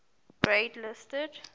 grade listed